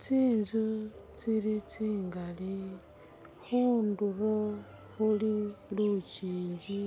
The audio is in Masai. Tsinzu tsili tsigaali khundulo khuli lunjinji